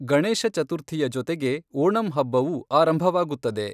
ಗಣೇಶ ಚತುರ್ಥಿಯ ಜೊತೆಗೆ ಓಣಂ ಹಬ್ಬವೂ ಆರಂಭವಾಗುತ್ತದೆ.